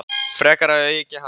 Frekar eigi að auka hana.